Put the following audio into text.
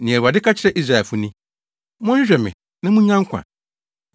Nea Awurade ka kyerɛ Israelfo ni: “Monhwehwɛ me na munnya nkwa;